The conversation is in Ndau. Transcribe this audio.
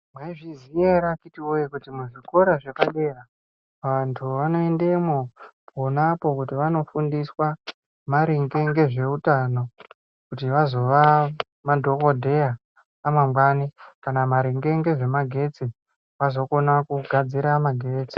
Maizviziva here kuti muzvikora zvapadera vantu vanoendemo naponapo kuti vandofundiswe maringe ngezveutano kuti vazova madhokodheya amangwani kana maringe ngezvemagetsi vazogona kugadzira magetsi.